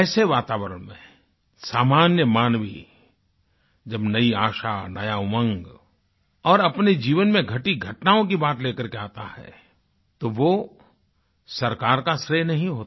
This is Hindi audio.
ऐसे वातावरण में सामान्य मानवी मानव जब नई आशा नया उमंग और अपने जीवन में घटी घटनाओं की बात लेकर के आता है तो वह सरकार का श्रेय नहीं होता